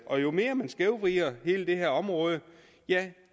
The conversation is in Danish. og jo mere man skævvrider hele det her område